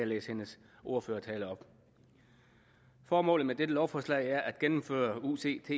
læse hendes ordførertale op formålet med dette lovforslag er at gennemføre ucits